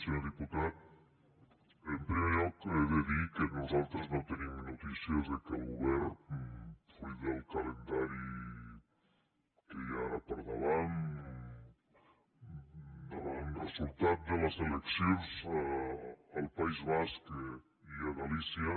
senyor diputat en primer lloc he de dir que nosaltres no tenim notícies que el govern fruit del calendari que hi ha ara al davant com a resultat de les eleccions al país basc i a galícia